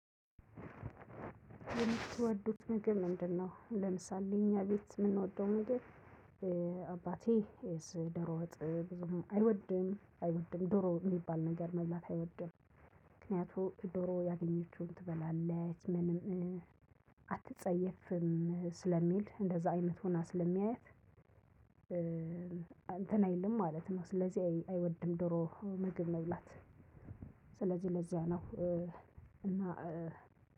የምትወዱት ምግብ ምንድነው? ለምሳሌ እኛ ቤት የምንወደው ምግብ አባቴ ዶሮ ወጥ ብዙም አይወድም አይወድም ዶሮ የሚባል ነገር መብላት አይወድም። ምክንያቱም ዶሮ ያገኘችውን ትበላለች ምንም አትጸየፍም ስለሚል እንደዛ አይነት ሁና ስለሚያያት። እንትን አይልም ማለት ነው። ስለዚህ አይወድም ዶሮ ምግብ መብላት። ስለዚህ ለዚያ ነው። እና